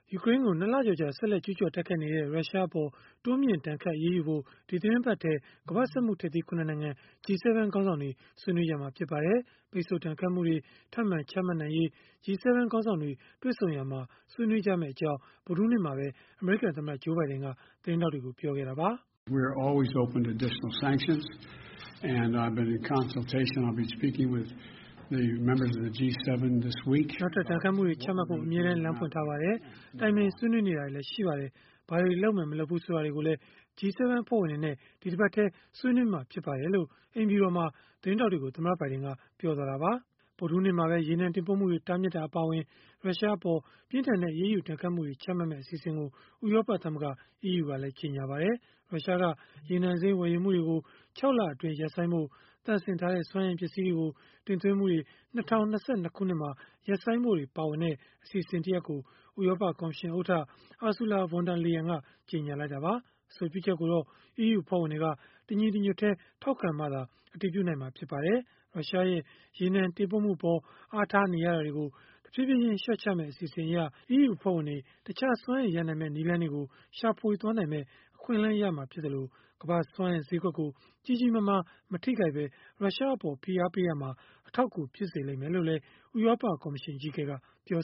ယူကရိန်းအပေါ် ၂ လကျော်ကြာ ဆက်လက် ကျုးကျော်တိုက်ခိုက်နေတဲ့ ရုရှားအပေါ် တိုးမြှင့်ဒဏ်ခတ် အရေးယူဖို့ ဒီသီတင်းပတ်ထဲ ကမ္ဘာ့စက်မှုထိပ်သီး ၇ နိုင်ငံ (G-7) ခေါင်းဆောင်တွေ ဆွေးနွေးမှာ ဖြစ်ပါတယ်။ ပိတ်ဆို့ဒဏ်ခတ်မှုတွေ ထပ်မံချမှတ်နိုင်ရေး G-7 ခေါင်းဆောင်တွေ တွေ့ဆုံရာမှာ ဆွေးနွေးမယ့်အကြောင်း ဗုဒ္ဓဟူးနေ့မှာပဲ အမေရိကန်သမ္မတ Joe Biden သတင်းထောက်တွေကို ပြောခဲ့တာပါ။ “နောက်ထပ် ဒဏ်ခတ်မှုတွေ ချမှတ်ဖို့ အမြဲတမ်း လမ်းဖွင့်ထားပါတယ်။ တိုင်ပင်ဆွေးနွေးနေတာလည်း ရှိပါတယ်။ ဘာတွေလုပ်မယ်၊ မလုပ်ဘူး၊ ဆိုတာတွေကိုလည်း G-7 အဖွဲ့ဝင်တွေနဲ့ ဒီတပတ်ထဲ ဆွေးနွေးမှာ ဖြစ်ပါတယ်။” လို့ အိမ်ဖြူတော်မှာ သတင်းထောက်တွေကို သမ္မတဘိုင်ဒင်က ပြောခဲ့တာပါ။ ဗုဒ္ဓဟူးနေ့မှာပဲ ရေနံတင်ပို့မှုတွေ တားမြစ်တာ အပါအဝင် ရုရှားအပေါ် ပြင်းထန်တဲ့ အရေးယူဒဏ်ခတ်မှုတွေ ချမှတ်မယ့် အစီအစဉ်ကို ဥရောပသမဂ္ဂ (EU) က ကြေညာခဲ့ပါတယ်။ ရုရှားက ရေနံစိမ်း ဝယ်ယူမှုတွေကို ၆ လအတွင်း ရပ်ဆိုင်းဖို့၊ သန့်စင်ထားတဲ့ စွမ်းအင်ပစ္စည်းတွေကို တင်သွင်းမှုတွေ ၂၀၂၂ ခုနှစ်မှာ ရပ်ဆိုင်းဖို့တွေ ပါဝင်တဲ့ အစီအစဉ်ကို ဥရောပကော်မရှင်ဥက္ကဋ္ဌ Ursula von der Leyen ကြေညာလိုက်တာပါ။ အဆိုပြုချက်ကိုတော့ EU အဖွဲ့ဝင်တွေက တညီတညွတ်တည်း ထောက်ခံမှသာ အတည်ပြုနိုင်မှာ ဖြစ်ပါတယ်။ ရုရှားရဲ့ ရေနံတင်ပို့မှုအပေါ် အားထားနေရတာတွေကို တဖြည်းဖြည်းချင်း လျှော့ချမယ့် အစီအစဉ်အရ၊ EU အဖွဲ့ဝင်တွေ တခြားစွမ်းအင်ရနိုင်မယ့် နည်းလမ်းတွေကို ရှာဖွေနိုင်မယ့် အခွင့်အလမ်းရမှာဖြစ်သလို၊ ကမ္ဘာ့စွမ်းအင်ဈေးကွက်ကို ကြီးကြီးမားမား မထိခိုက်ဘဲ ရုရှားအပေါ် ဖိအားပေးရာမှာ အထောက်အကူ ဖြစ်စေလိမ့်မယ်လို့လည်း ဥရောပကော်မရှင် အကြီးအကဲက ပြော